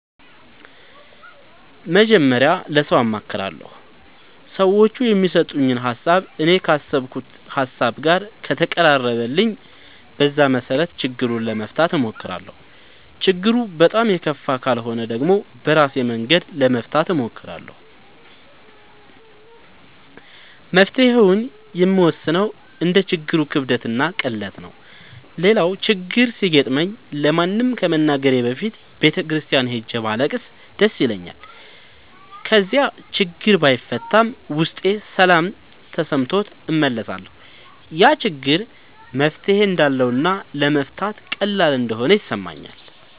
መጀመሪያ ለሠው አማክራለሁ። ሠዎቹ የሚሠጡኝ ሀሣብ እኔ ካሠብኩት ሀሳብ ጋር ከተቀራረበልኝ በዛ መሠረት ችግሩን ለመፍታት እሞክራለሁ። ችግሩ በጣም የከፋ ካልሆነ ደግሞ በራሴ መንገድ ለመፍታት እሞክራለሁ። መፍትሔውን የምወስነው እንደ ችግሩ ክብደትና ቅለት ነው። ሌላው ችግር ሲገጥመኝ ለማንም ከመናገሬ በፊት ቤተ ክርስቲያን ሄጄ ባለቅስ ደስ ይለኛል። ከዚያ ያችግር ባይፈታም ውስጤ ሠላም ተሠምቶት እመለሳለሁ። ያ ችግር መፍትሔ እንዳለውና ለመፍታት ቀላል እንደሆነ ይሠማኛል።